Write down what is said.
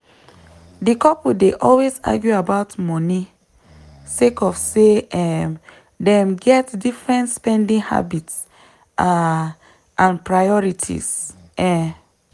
di couple dey always argue about money sake of say um dem get different spending habits um and priorities. um